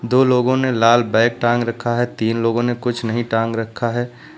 दो लोगों ने लाल बैग टांग रखा है तीन लोगों ने कुछ नहीं टांग रखा है।